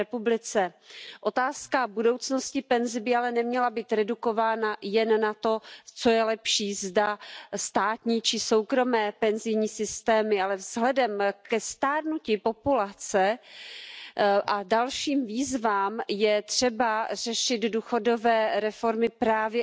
Elementem ostatniego etapu godnego życia jest przyzwoita emerytura, tzn. zagwarantowana i po drugie w kwocie, która pozwoli przeżyć. Obywatele oszczędzają na emeryturę w różny sposób, to prawda przymuszony, ale padały sformułowania, że część publiczna jest nieważna. Pochodzę z państwa, w którym dzisiejsi liberałowie chadeccy